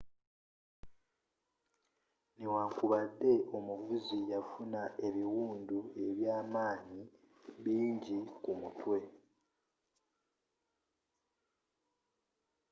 n'ewankubadde omuvuzi yafuna ebiwundu ebya manyi bingi kumutwe